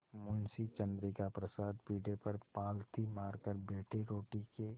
मुंशी चंद्रिका प्रसाद पीढ़े पर पालथी मारकर बैठे रोटी के